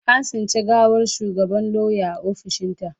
An tsinci gawar shugabar lauyan a ofishinta.